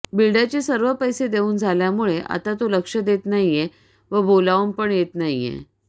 बिल्डरचे सर्व पैसे देवून झाल्यामुळे आता तो लक्ष देत नाहीये व बोलावून पण येत नाहीये